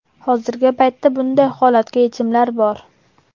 Hozirgi paytda bunday holatga yechimlar bor.